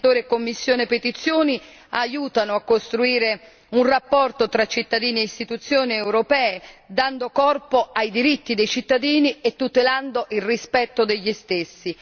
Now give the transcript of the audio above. Mediatore e commissione per le petizioni aiutano a costruire un rapporto tra cittadini e Istituzioni europee, dando corpo ai diritti dei cittadini e tutelando il rispetto degli stessi.